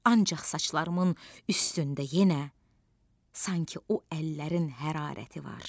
Ancaq saçlarımın üstündə yenə sanki o əllərin hərarəti var.